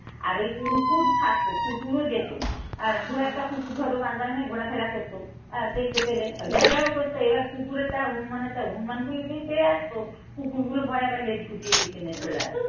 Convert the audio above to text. আর ওই কুকুর থাকতো, কুকুরও যেত। দু একটা কুকুর ধরো বাঁশবাগানে ঘোরাফেরা করতো আহ দেখতে পেলে ঘেউ ঘেউ করতো এবার কুকুরেরটা হনুমানের তার হনুমান বলেই পেয়ে আসতো কুকুরগুলো ভয়ে আবার লেজ গুটিয়ে পিছনে চলে আসতো।